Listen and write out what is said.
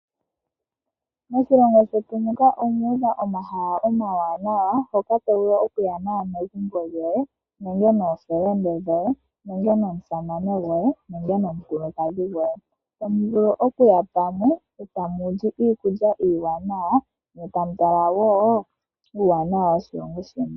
Moshilongo shetu muka omuudha omahala omawanawa mpoka tovulu okuya naakwanegumbo yoye nenge nomusamane goye nenge nomukulukadhi goye. Tamu vulu okuya pamwe etamuli iikulya iiwanawa ne tamutala wo uuwanawa woshilongo sheni.